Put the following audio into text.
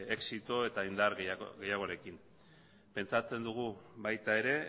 exito eta indar gehiagorekin pentsatzen dugu baita ere